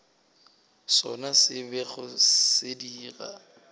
sona se bego se dira